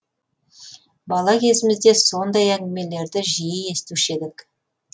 бала кезімізде сондай әңгімелерді жиі естуші едік